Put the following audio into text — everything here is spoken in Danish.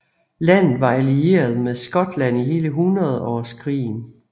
Landet var allieret med Skotland i hele hundredårskrigen